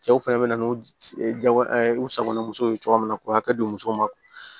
Cɛw fɛnɛ be na n'u ye jago ɛɛ u sagonamusow ye cogo min na k'u hakɛ don musow ma